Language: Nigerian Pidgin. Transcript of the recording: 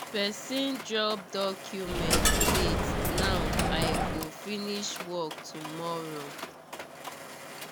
person dropped documents late now i go finish work tomorrow